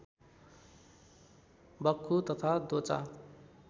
बख्खु तथा दोचा